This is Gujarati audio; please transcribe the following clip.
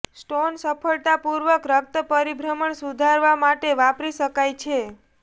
સ્ટોન સફળતાપૂર્વક રક્ત પરિભ્રમણ સુધારવા માટે વાપરી શકાય છે